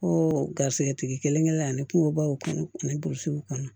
Ko garisigɛ tigi kelen kɛlen ani kungobaw kɔnɔ ani burusiw kɔnɔ